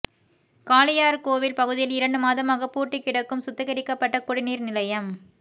காளையார்கோவில் பகுதியில் இரண்டு மாதமாக பூட்டி கிடக்கும் சுத்திகரிக்கப்பட்ட குடிநீர் நிலையம்